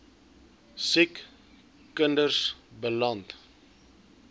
siek kinders beland